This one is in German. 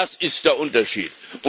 Das ist der Unterschied.